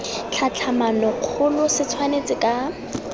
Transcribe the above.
tlhatlhamano kgolo se tshwanetse ka